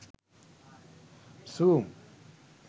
zoom